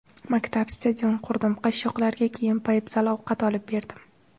Maktab, stadion qurdim, qashshoqlarga kiyim, poyabzal, ovqat olib berdim.